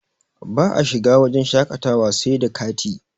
ba a shiga wajen shaƙatawa sai da kati